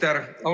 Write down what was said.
Hea minister!